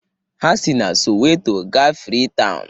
Ha si na Soweto gaa Freetown